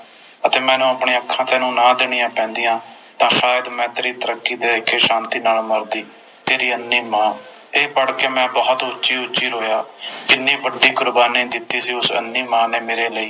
ਅਤੇ ਮੈਨੂੰ ਆਪਣੀਆਂ ਅੱਖਾਂ ਤੈਨੂੰ ਨਾ ਦੇਣੀਆਂ ਪੈਂਦੀਆਂ ਤਾ ਅੱਜ ਮੈਂ ਤੇਰੀ ਤਰੱਕੀ ਦੇਖ ਕੇ ਸ਼ਾਂਤੀ ਨਾਲ ਮਰਦੀ ਤੇਰੀ ਅੰਨ੍ਹੀ ਮਾਂ ਤੇ ਮੈਂ ਇਹ ਪੜ੍ਹ ਕੇ ਬੋਹੋਤ ਉੱਚੀ ਉੱਚੀ ਰੋਇਆ ਕਿੰਨੀ ਵੱਡੀ ਕੁਰਬਾਨੀ ਦਿੱਤੀ ਸੀ ਉਸ ਅੰਨ੍ਹੀ ਮਾਂ ਨੇ ਮੇਰੇ ਲਈ